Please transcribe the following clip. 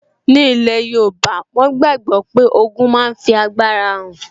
Ní ilẹ̀ yóòbá, wọ́n gbàgbọ́ pé ogun máa fi agbára hàn